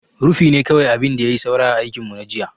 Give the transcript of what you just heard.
Rufi ne kawai abin da ya yi saura a aikin mu na jiya.